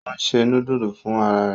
Ò ń ṣe núdúsì fún ara rẹ̀